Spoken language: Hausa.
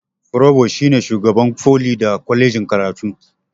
forubus shine shugaban foli da kwalejin karatu